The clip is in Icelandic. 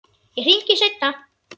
Ég hringi seinna.